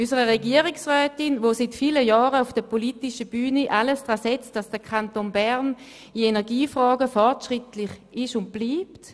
zuerst unserer Regierungsrätin, die seit vielen Jahren auf der politischen Bühne alles daran setzt, dass der Kanton Bern in Energiefragen fortschrittlich ist und bleibt.